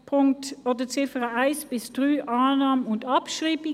Bei den Ziffern 1 bis 3 Annahme und Abschreibung.